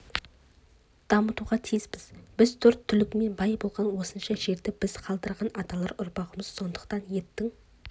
дамытуға тиіспіз біз төрт түлігімен бай болған осынша жерді бізге қалдырған аталар ұрпағымыз сондықтан еттің